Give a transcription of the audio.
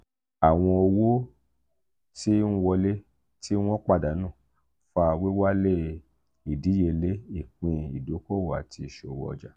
awọn owo ti n wọle ti won padanu fa wiwale idiyele ipin idokowo ati iṣowo ọja.